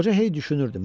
Qoca hey düşünürdü.